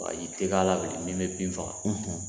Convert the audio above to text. Bagaji tɛ k'a bilen ni n bɛ bin faga